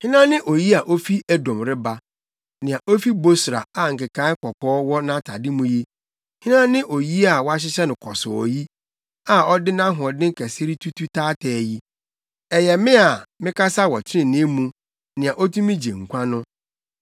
Hena ne oyi a ofi Edom reba, nea ofi Bosra a nkekae kɔkɔɔ wɔ nʼatade mu yi? Hena ne oyi a wɔahyehyɛ no kɔsɔɔ yi, a ɔde nʼahoɔden kɛse retutu taataa yi? “Ɛyɛ me a, mekasa wɔ trenee mu, nea otumi gye nkwa no.”